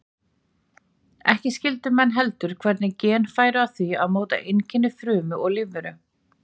Ekki skildu menn heldur hvernig gen færu að því að móta einkenni frumu og lífveru.